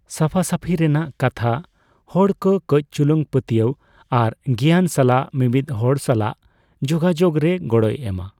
ᱥᱟᱯᱷᱟᱥᱟᱯᱷᱤ ᱨᱮᱱᱟᱜ ᱠᱟᱛᱷᱟ ᱦᱚᱲ ᱠᱚ ᱠᱟᱹᱪᱽ ᱪᱩᱞᱩᱝ ᱯᱟᱹᱛᱭᱟᱹᱣ ᱟᱨ ᱜᱮᱭᱟᱱ ᱥᱟᱞᱟᱜ ᱢᱤᱢᱤᱫ ᱦᱚᱲ ᱥᱟᱞᱟᱜ ᱡᱚᱜᱟᱡᱚᱜ ᱨᱮ ᱜᱚᱲᱚᱭ ᱮᱢᱟ ᱾